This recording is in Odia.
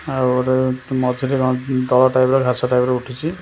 ଆଉ ଗୋଟେ ମଝିରେ କଣ ଦଳ ଟାଇପ ର ଘାସ ଟାଇପ ର ଉଠିଛି ।